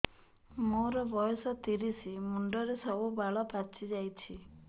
ମୋର ବୟସ ତିରିଶ ମୁଣ୍ଡରେ ସବୁ ବାଳ ପାଚିଯାଇଛି